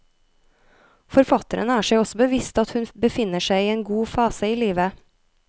Forfatteren er seg også bevisst at hun befinner seg i en god fase i livet.